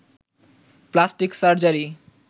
plastic surgery